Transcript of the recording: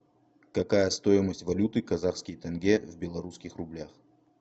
какая стоимость валюты казахские тенге в белорусских рублях